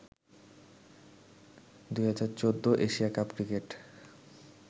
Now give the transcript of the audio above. ২০১৪ Asia cup cricket